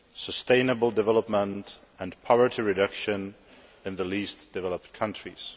sustainable development and poverty reduction in the least developed countries.